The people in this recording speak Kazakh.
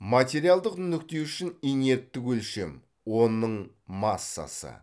материалдық нүкте үшін инерттік өлшем оның массасы